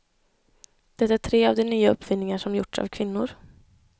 Det är tre av de nya uppfinningar som gjorts av kvinnor.